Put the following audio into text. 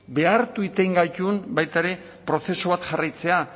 behartu egiten gaitun baita ere prozesu bat jarraitzea